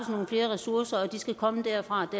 nogle flere ressourcer og de skal komme derfra og